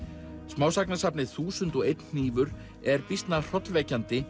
smásagnasafnið þúsund og einn hnífur er býsna hrollvekjandi